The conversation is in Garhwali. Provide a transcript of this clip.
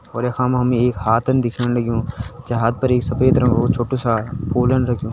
और यखम हमें एक हातन दिख्याण लगयूं जै हात पर एक सफ़ेद रंगु छोटु सा फूलन रखयूं।